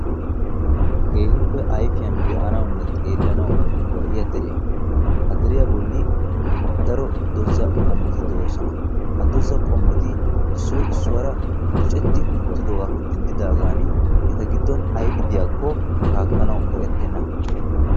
keehippe ayfiyan be"anawne xeelanaw lo"iyaa deriya ha deriya bollani daro dozza qomotti doosona ha dozza qommoti issoy issuwara tucceti utidogappe dendidagnai etta gidoni aybi de"iyakko shakkanaw dandayettena.